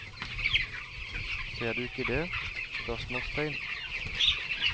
Ser du ikke det? spørsmålstegn